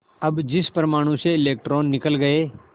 अब जिस परमाणु से इलेक्ट्रॉन निकल गए